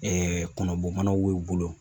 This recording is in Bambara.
kɔnɔbɔ manaw be u bolo